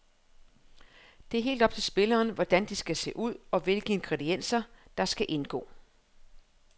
Det er helt op til spilleren, hvordan de skal se ud og hvilke ingredienser, der skal indgå.